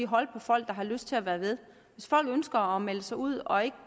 holde på folk der har lyst til at være med hvis folk ønsker at melde sig ud og ikke